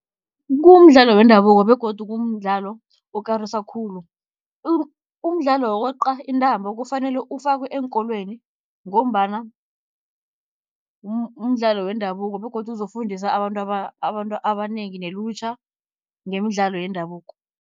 Kumdlalo wendabuko begodu kumdlalo okarisa khulu. umdlalo wokweqa intambo kufanele ufakwe eenkolweni, ngombana mdlalo wendabuko begodu uzofundisa abantu abantu abanengi nelutjha, ngemidlalo yendabuko.